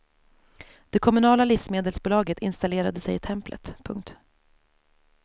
Det kommunala livsmedelsbolaget installerade sig i templet. punkt